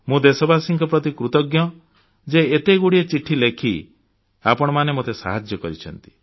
ମୁଁ ଦେଶବାସୀଙ୍କ ପ୍ରତି କୃତଜ୍ଞ ଯେ ଏତେଗୁଡ଼ିଏ ଚିଠି ଲେଖି ଆପଣମାନେ ମୋତେ ସାହାଯ୍ୟ କରିଛନ୍ତି